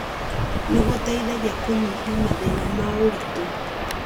nĩ gũteithagia kũnyihia mathĩna ma ũritũ.